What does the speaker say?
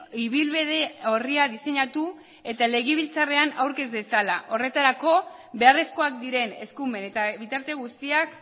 ibilbide orria diseinatu eta legebiltzarrean aurkez dezala horretarako beharrezkoak diren eskumen eta bitarte guztiak